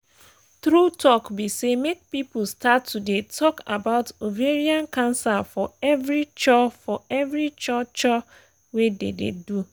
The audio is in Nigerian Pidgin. make persin sabi this ovarian cancer oooo cos e um help me support my friend wey get am and wey dey um battle from am